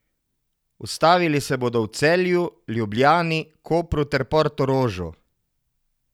Ustavili se bodo v Celju, Ljubljani, Kopru ter Portorožu.